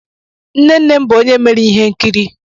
Nne nne m bụ onye mere ihe nkiri.